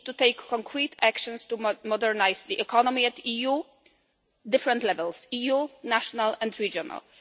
We need to take concrete actions to modernise the economy at the EU's different levels EU, national and regional.